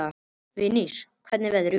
Vinsý, hvernig er veðrið úti?